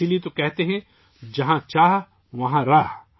اسی لیے کہا جاتا ہے کہ جہاں چاہ ، وہاں راہ